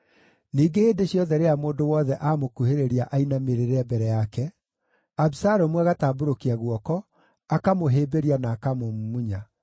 Ningĩ hĩndĩ ciothe rĩrĩa mũndũ wothe amũkuhĩrĩria ainamĩrĩre mbere yake, Abisalomu agatambũrũkia guoko, akamũhĩmbĩria na akamũmumunya.